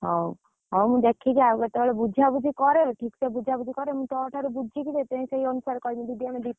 ହଉ, ମୁଁ ଦେଖିକି ଆଉ କେତେ ବେଳେ ବୁଝାବୁଝି କରେ ଠିକ ସେ ବୁଝାବୁଝି କରେ ମୁଁ ତୋ ଠାରୁ ବୁଝିକି ମୁଁ ସେଇ ଅନୁସାରେ କହିବି ଦିଦି ଆମେ ଦି ତିନି ଜଣ ଯିବୁ।